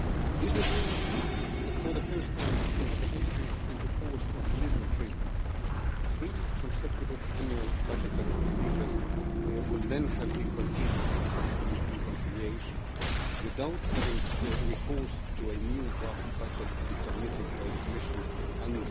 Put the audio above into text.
This would mean that, for the first time since the entry into force of the Lisbon Treaty, three consecutive annual budgetary procedures will then have been completed successfully in conciliation without having recourse to a new draft budget to be submitted by the Commission and,